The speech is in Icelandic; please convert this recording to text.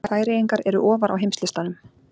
Færeyingar eru ofar á heimslistanum.